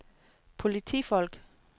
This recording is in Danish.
politifolk